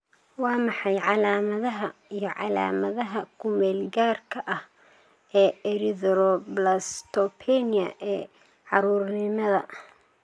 Waa maxay calaamadaha iyo calaamadaha ku-meel-gaadhka ah ee erythroblastopenia ee carruurnimada?